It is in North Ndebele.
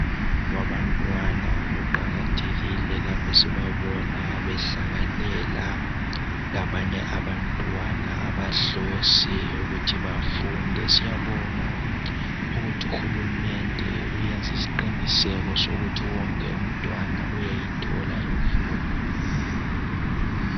Abantwana kuqakathekile laphe sibabona behlanganela labanye abantwana abahlose ukuthi bafunde .Siyabonga ukuthi uhulumende uyenze isiqiniseko sokuthi wonke umntwana uyayithola imfundo .